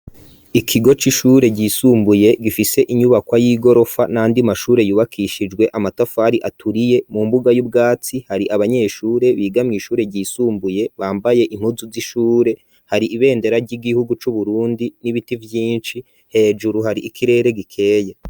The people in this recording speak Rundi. Ikigo c'ishure ryisumbuye gifise inyubakwa y'igorofa n'ayandi mashure yubakishijwe amatafari aturiye, mu mbuga y'ubwatsi hari abanyeshure biga mw'ishure ryisumbuye bambaye inkuzu z'ishure, hari ibendera ry'igihugu c'Uburundi n'ibiti vyinshi, hejuru hari ikirere gikeye.